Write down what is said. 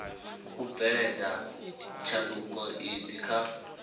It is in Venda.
u bveledza tshanduko idzi kha